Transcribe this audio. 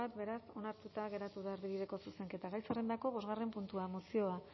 beraz onartuta geratu da erdibideko zuzenketa gai zerrendako bosgarren puntua mozioa